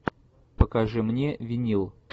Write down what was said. покажи мне винил